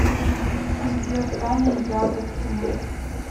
сбер таня ягодкина